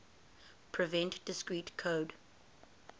prevent discrete code